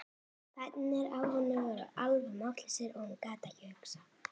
Fæturnir á henni voru alveg máttlausir og hún gat ekki hugsað.